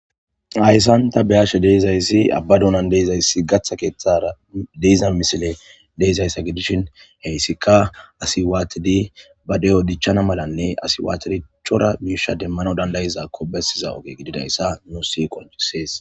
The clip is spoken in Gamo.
Hayssanta be ashe deizayssi abba dunan deizayssi gaththa keeththara deiza misile deizayssa gidishin heyssika asi waatidi ba de'o dichchana malanne asi waatericchora miisha demmano dandayizakko bessiza oge gididayssa nu si qoncisees.